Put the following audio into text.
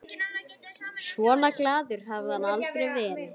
Svona glaður hafði hann aldrei verið.